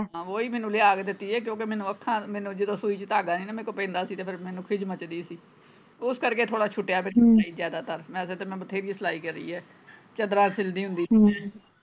ਹਾਂ ਓਹੀ ਮੈਨੂੰ ਲਿਆ ਕੇ ਦਿੱਤੀ ਏ ਕਿਉਂਕਿ ਮੈਨੂੰ ਅੱਖਾਂ ਮੈਨੂੰ ਜਦੋਂ ਸੂਈ ਚ ਧਾਗਾ ਨਹੀਂ ਨਾ ਮੇਰੇ ਤੋਂ ਪੈਂਦਾ ਸੀ ਫੇਰ ਮੈਨੂੰ ਖਿਜ ਮੱਚਦੀ ਸੀ ਉਸ ਕਰੇਕ ਥੋੜਾ ਛੁੱਟਿਆ ਜ਼ਿਆਦਾਤਰ ਵੈਸੇ ਤੇ ਮੈਂ ਬਥੇਰੀ ਸਲਾਈ ਕਰੀ ਹੈ ਚੱਦਰਾਂ ਸਿਲਦੀ ਹੁੰਦੀ ਸੀ ਮੈਂ ਹਮ